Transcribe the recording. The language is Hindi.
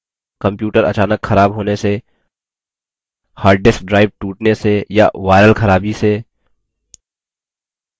computer अचानक खराब होने से हार्डडिस्क drive टूटने से या viral खराबी से